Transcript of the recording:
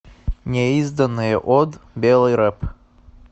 неизданное од белый рэп